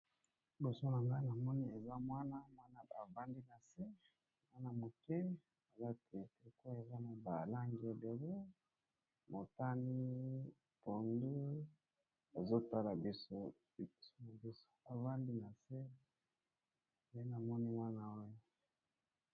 Libosonanga namoni mwana avandi nase mwana muke pe alati elamba yabalangi ebele motani pondu azotala biso avandi nase nde namoni mwana oyo